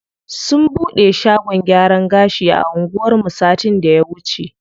Sun bude shagon gyaran gashi a anguwan mu satin da ya wuce.